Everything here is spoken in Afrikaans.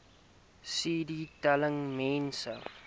cd telling mense